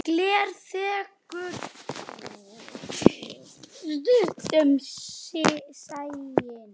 Gler þekur stundum sæinn.